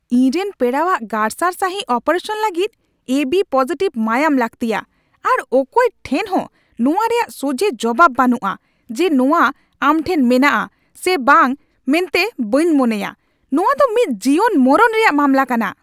ᱤᱧᱨᱮᱱ ᱯᱮᱲᱟᱣᱟᱜ ᱜᱟᱨᱥᱟᱨ ᱥᱟᱹᱦᱤᱡ ᱚᱯᱨᱮᱥᱟᱱ ᱞᱟᱹᱜᱤᱫ ᱮ ᱵᱤ ᱯᱚᱡᱤᱴᱤᱵᱷ ᱢᱟᱭᱟᱢ ᱞᱟᱹᱠᱛᱤᱭᱟ, ᱟᱨ ᱚᱠᱚᱭ ᱴᱷᱮᱱ ᱦᱚᱸ ᱱᱚᱣᱟ ᱨᱮᱭᱟᱜ ᱥᱚᱡᱷᱮ ᱡᱚᱵᱟᱵ ᱵᱟᱹᱱᱩᱜᱼᱟ ᱡᱮ ᱱᱚᱣᱟ ᱟᱢᱴᱷᱮᱱ ᱢᱮᱱᱟᱜᱼᱟ ᱥᱮ ᱵᱟᱝ ᱢᱮᱱᱛᱮ ᱵᱟᱹᱧ ᱢᱚᱱᱮᱭᱟ ᱾ ᱱᱚᱶᱟᱫᱚ ᱢᱤᱫ ᱡᱤᱭᱚᱱᱼᱢᱚᱨᱚᱱ ᱨᱮᱭᱟᱜ ᱢᱟᱢᱞᱟ ᱠᱟᱱᱟ ᱾